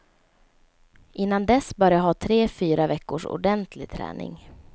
Innan dess bör jag ha tre fyra veckors ordentlig träning.